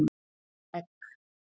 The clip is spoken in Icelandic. Egg